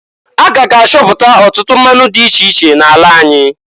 A k'aga achọpụtọ ọtụtụ mmanụ dị iche iche n'ala anyị.